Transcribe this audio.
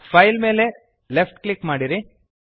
file ಮೇಲೆ left click ಮಾಡಿರಿ